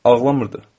Ağlamırdı.